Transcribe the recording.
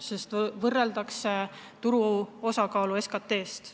Silmas on peetud selle turu osakaalu SKT-s.